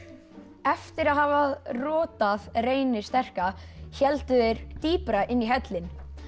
eftir að hafa Reyni sterka héldu þeir dýpra inn í hellinn